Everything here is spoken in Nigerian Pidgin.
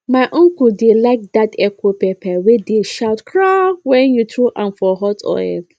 my uncle dey like dat echo pepper wey dey shout kpraaah when you throw am for hot oil